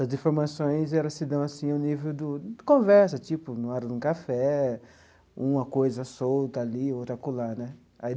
as informações elas se dão assim no nível do conversa tipo, na hora de um café, uma coisa solta ali, outra acolá né aí.